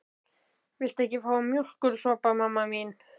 Viltu ekki fá þér mjólkursopa, mamma mín?